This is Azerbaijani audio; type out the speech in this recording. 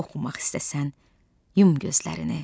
Oxumaq istəsən yum gözlərini.